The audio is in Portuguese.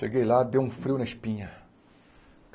Cheguei lá, deu um frio na espinha.